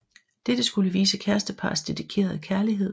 Dette skulle vise kærestepars dedikerede kærlighed